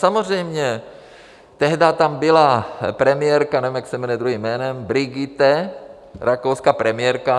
Samozřejmě tehdy tam byla premiérka - nevím, jak se jmenuje druhým jménem - Brigitte, rakouská premiérka.